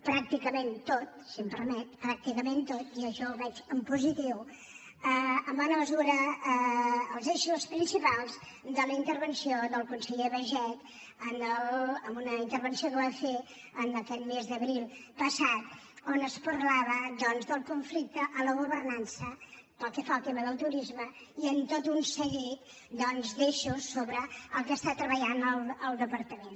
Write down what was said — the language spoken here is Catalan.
pràcticament tot si m’ho permet pràcticament tot i això ho veig en positiu eren els eixos principals de la intervenció del conseller baiget en una intervenció que va fer aquest mes d’abril passat on es parlava doncs del conflicte en la governança pel que fa al tema del turisme i en tot un seguit d’eixos sobre els que treballa el departament